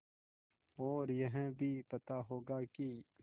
और यह भी पता होगा कि